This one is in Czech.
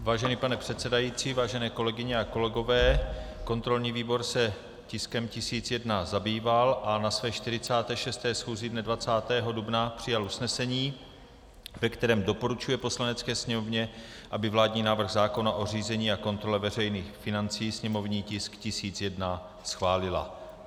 Vážený pane předsedající, vážené kolegyně a kolegové, kontrolní výbor se tiskem 1001 zabýval a na své 46. schůzi dne 20. dubna přijal usnesení, ve kterém doporučuje Poslanecké sněmovně, aby vládní návrh zákona o řízení a kontrole veřejných financí, sněmovní tisk 1001, schválila.